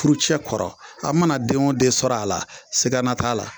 Furujɛ kɔrɔ, a mana den o den sɔr'a la, sigana t'a la.